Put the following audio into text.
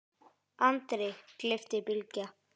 andri, gleypti Bylgja.